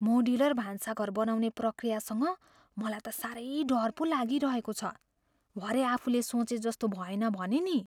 Modular भान्साघर बनाउने प्रक्रियासँग मलाई त साह्रै डर पो लागिरहेको छ। भरे आफूले सोचेजस्तो भएन भने नि!